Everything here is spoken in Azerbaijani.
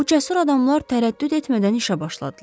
Bu cəsur adamlar tərəddüd etmədən işə başladılar.